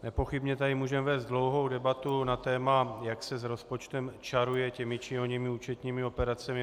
Nepochybně tady můžeme vést dlouhou debatu na téma, jak se s rozpočtem čaruje těmi či oněmi účetními operacemi.